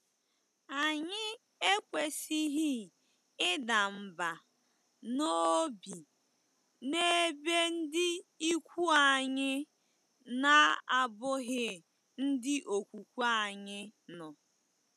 Anyị ekwesịghị ịda mbà n'obi n'ebe ndị ikwu anyị na-abụghị ndị okwukwe anyị nọ.